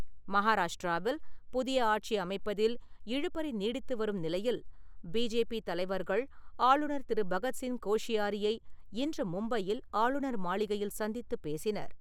மகாராஷ்டிராவில் புதிய ஆட்சி அமைப்பதில் இழுபறி நீடித்துவரும் நிலையில், பி.ஜே.பி. தலைவர்கள் ஆளுநர் திரு. பகத்சிங் கோஷியாரியை இன்று மும்பையில் ஆளுநர் மாளிகையில் சந்தித்துப் பேசினர்.